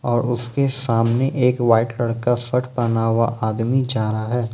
और उसके सामने एक वाइट लड़का शर्ट पहना हुआ आदमी जा रहा है।